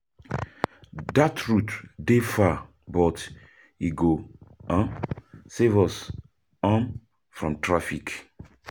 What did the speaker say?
Dat route dey far but e go save us [?{from traffic.